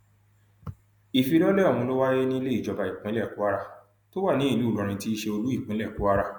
ìfilọlẹ ọhún ló wáyé nílé ìjọba ìpínlẹ kwara tó wà ní ìlú ìlọrin tí í ṣe olú ìpínlẹ kwara